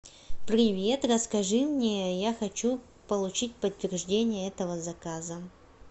привет расскажи мне я хочу получить подтверждение этого заказа